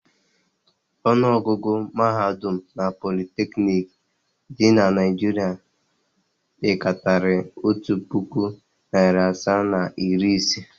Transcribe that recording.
Ọnụọgụgụ mahadum na politeknik dị na Naịjirịa pekarịrị otu puku, narị asaa na iri ise.